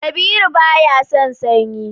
Kabiru baya son sanyi